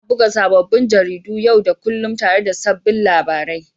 Ana buga sabbin jaridu yau da kullun tare da sabbin labarai.